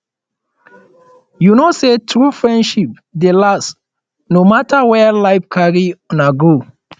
you know sey true friendship dey last no mata where life carry una go